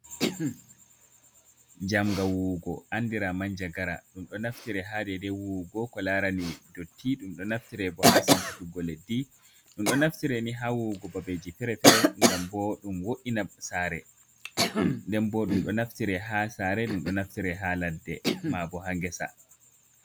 Njamga wuwugo andira manjagara ɗum ɗo naftire ha dede wuwugo ko larani dotti ɗum ɗo naftire bo ha sankutuggo leddi ɗum ɗo naftire ni ha wuwugo babeji fere-fere gamwo’ina sare nden bo ɗum ɗo naftire ha sare ɗum ɗo naftire ha ladde mabo ha ngesa.